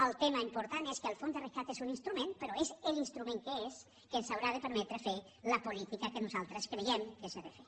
el tema important és que el fons de rescat és un instrument però és l’instrument que és que ens haurà de permetre fer la política que nosaltres creiem que s’ha de fer